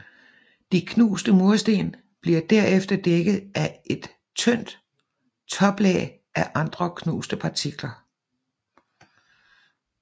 De knuste mursten bliver derefter dækket af et tynd toplag af andre knuste partikler